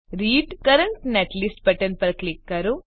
read current netlist button પર click કરો